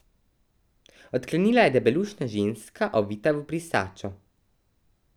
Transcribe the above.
Odklenila je debelušna ženska, ovita v brisačo.